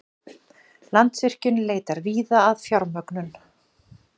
Landsvirkjun leitar víða að fjármögnun